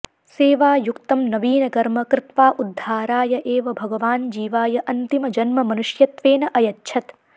सेवायुक्तं नवीनकर्म कृत्वा उद्धाराय एव भगवान् जीवाय अन्तिमजन्म मनुष्यत्वेन अयच्छत्